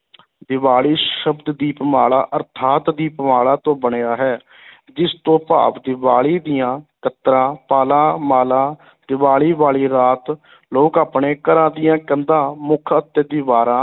ਦੀਵਾਲੀ ਸ਼ਬਦ ਦੀਪਮਾਲਾ ਅਰਥਾਤ ਦੀਪਮਾਲਾ ਤੋਂ ਬਣਿਆ ਹੈ ਜਿਸ ਤੋਂ ਭਾਵ ਦੀਵਾਲੀ ਦੀਆਂ ਕਤਰਾਂ, ਪਾਲਾਂ, ਮਾਲਾ ਦੀਵਾਲੀ ਵਾਲੀ ਰਾਤ ਲੋਕ ਆਪਣੇ ਘਰਾਂ ਦੀਆਂ ਕੰਧਾਂ, ਮੁੱਖ ਅਤੇ ਦੀਵਾਰਾਂ